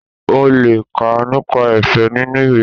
onle ká nipa efe ninu iwe